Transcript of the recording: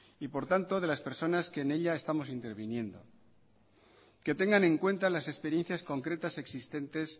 y por tanto de las personas que en ella estamos interviniendo que tengan en cuenta las experiencias concretas existentes